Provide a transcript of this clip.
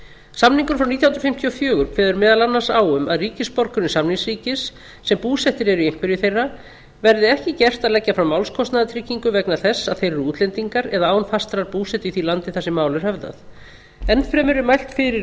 nítján hundruð fimmtíu og fjögur kveður meðal annars á um að ríkisborgurum samningsríkis sem búsettir eru í einhverju þeirra verði ekki gert að leggja fram málskostnaðartryggingu vegna þess að þeir eru útlendingar eða án fastrar búsetu í því landi þar sem mál er höfðað enn fremur er mælt fyrir